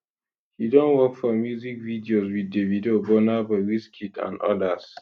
she don work for music videos wit davido burna boy wizkid and odas